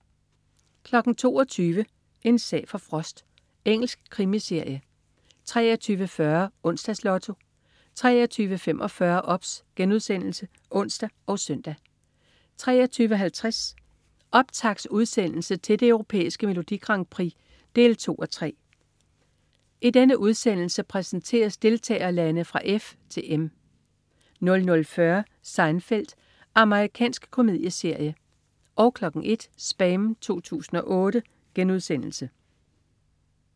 22.00 En sag for Frost. Engelsk krimiserie 23.40 Onsdags Lotto 23.45 OBS* (ons og søn) 23.50 Optaktsudsendelse til det Europæiske Melodi Grand Prix 2:3. I denne udsendelse præsenteres deltagerlande fra F til M 00.40 Seinfeld. Amerikansk komedieserie 01.00 SPAM 2008*